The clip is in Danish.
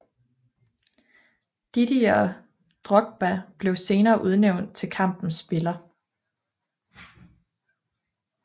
Didier Drogba blev senere udnævnt til kampens spiller